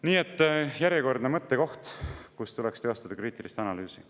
Nii et järjekordne koht, kus tuleks teostada kriitilist analüüsi.